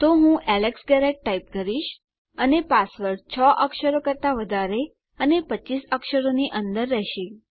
તો હું Alex Garrett type કરીશ અને પાસવર્ડ 6 અક્ષરો કરતા વધારે અને 25 અક્ષરોની અંદર રહેશે